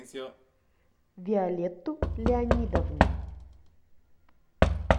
виолетту леонидовну